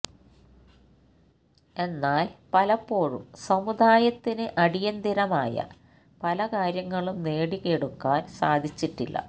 എന്നാല് പലപ്പോഴും സമുദായത്തിന് അടിയന്തരമായ പല കാര്യങ്ങളും നേടിയെടുക്കാന് സാധിച്ചിട്ടില്ല